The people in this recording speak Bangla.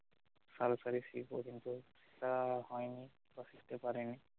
সারাসারি fee পর্যন্ত তা হইনি কিংবা করতে পারিনি